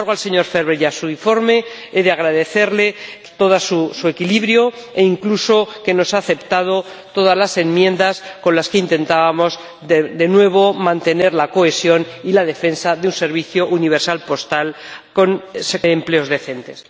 Sin embargo, al señor Ferber y a su informe he de agradecerles todo su equilibrio, e incluso que nos haya aceptado todas las enmiendas con las que intentábamos, de nuevo, mantener la cohesión y la defensa de un servicio universal postal con empleos decentes.